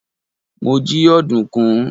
mo ji ọdunkun